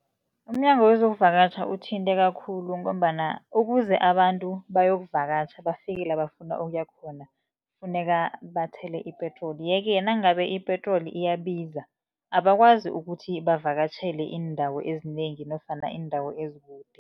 UmNyango wezoKuvakatjha uthinteka khulu, ngombana ukuze abantu bayokuvakatjha bafike la bafuna ukuya khona, kufuneka bathele ipetroli. Ye-ke nangabe ipetroli iyabiza, abakwazi ukuthi bavakatjhele iindawo ezinengi nofana iindawo ezikude.